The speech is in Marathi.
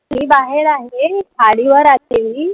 मी बाहेर आहे. माडीवर आहे मी